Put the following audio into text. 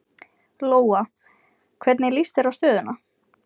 Lóa: Hvernig líst þér á stöðuna?